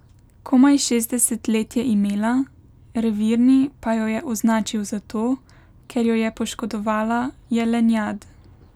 Komaj šestdeset let je imela, revirni pa jo je označil zato, ker jo je poškodovala jelenjad.